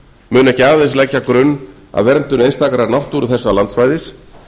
mun ekki aðeins leggja grunn að verndun einstakrar náttúru þessa landsvæðis